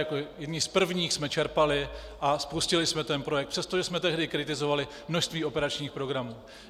Jako jedni z prvních jsme čerpali a spustili jsme ten projekt, přestože jsme tehdy kritizovali množství operačních programů.